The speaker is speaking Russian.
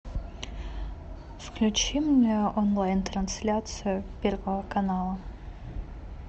включи мне онлайн трансляцию первого канала